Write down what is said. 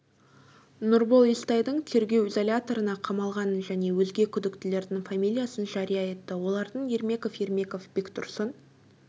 нұрбол естайдың тергеу изоляторына қамалғанын және өзге күдіктілердің фамилиясын жария етті олардың ермеков ермеков бектұрсын